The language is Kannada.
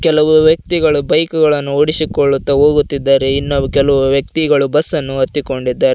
ಕೆಲವು ವ್ಯಕ್ತಿಗಳು ಬೈಕುಗಳನ್ನು ಓಡಿಸಿಕೊಳ್ಳುತ ಹೋಗುತ್ತಿದ್ದಾರೆ ಇನ್ನು ಕೆಲವು ವ್ಯಕ್ತಿಗಳು ಬಸ್ಸನ್ನು ಹತ್ತಿಕೊಂಡಿದ್ದಾರೆ.